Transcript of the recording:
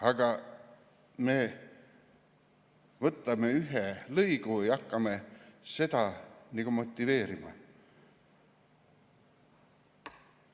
Aga me võtame ühe lõigu ja hakkame seda motiveerima.